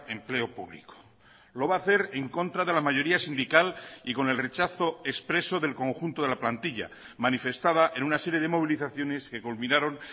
empleo público lo va a hacer en contra de la mayoría sindical y con el rechazo expreso del conjunto de la plantilla manifestada en una serie de movilizaciones que culminaron